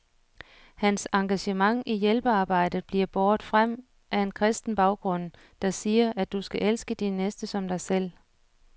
Hans engagement i hjælpearbejdet bliver båret frem af en kristen baggrund, der siger, at du skal elske din næste som dig selv.